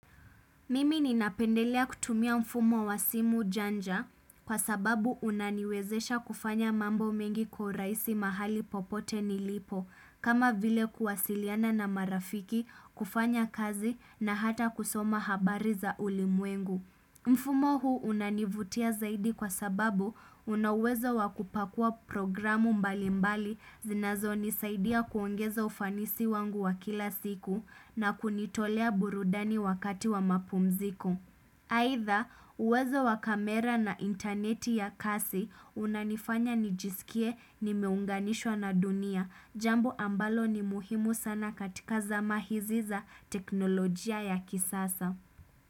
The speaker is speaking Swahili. Mimi ninapendelea kutumia mfumo wa simu janja kwa sababu unaniwezesha kufanya mambo mengi kwa uraisi mahali popote nilipo kama vile kuwasiliana na marafiki kufanya kazi na hata kusoma habari za ulimwengu. Mfumo huu unanivutia zaidi kwa sababu una uwezo wa kupakua programu mbali mbali zinazo nisaidia kuongeza ufanisi wangu wa kila siku na kunitolea burudani wakati wa mapumziko. Aidha, uwezo wa kamera na intaneti ya kasi unanifanya nijisikie nimeunganishwa na dunia, jambo ambalo ni muhimu sana katika zama hizi za teknolojia ya kisasa.